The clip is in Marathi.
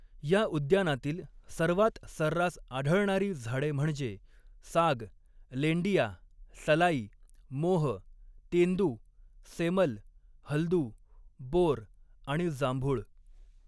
या उद्यानातील सर्वात सर्रास आढळणारी झाडे म्हणजे साग, लेंडिया, सलाई, मोह, तेंदू, सेमल, हलदू, बोर आणि जांभूळ.